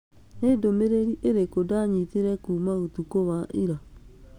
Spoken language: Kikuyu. Nĩ ndũmĩrĩri ĩrĩkũ ndanyitire kuuma ũtukũ wa ira?